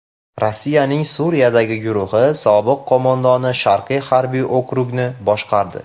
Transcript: Rossiyaning Suriyadagi guruhi sobiq qo‘mondoni Sharqiy harbiy okrugni boshqardi.